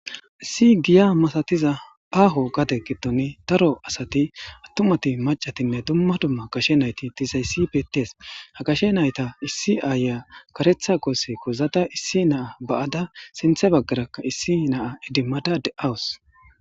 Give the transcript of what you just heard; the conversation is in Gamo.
Issi giya masatiza aaho gadde giddon daro asati attumattinne macati dumma dumma gashe nayti dizayssi beetes ha gashe nayta issi ayiya kareththa goose goozada issi na'a ba'ada sinththe baggarakka issi na'a iddimada de'awus